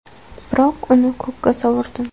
Biroq uni ko‘kka sovurdim.